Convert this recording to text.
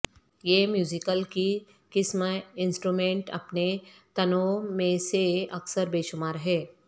یہ میوزیکل کی قسم انسٹرومنٹ اپنے تنوع میں سے اکثر بے شمار ہے